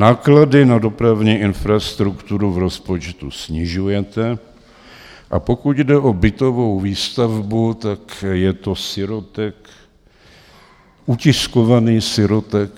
Náklady na dopravní infrastrukturu v rozpočtu snižujete, a pokud jde o bytovou výstavbu, tak je to sirotek, utiskovaný sirotek